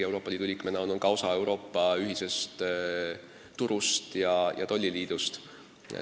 Euroopa Liidu liikmena oleme ka osa Euroopa ühisest turust ja tolliliidust.